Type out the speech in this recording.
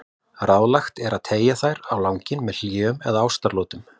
Ráðlegt er að teygja þær á langinn með hléum eða ástaratlotum.